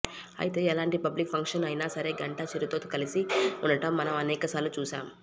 అయితే ఎలాంటి public function అయినా సరే గంటా చిరుతో కలిసి ఉండడం మనం అనేక సార్లు చూసాం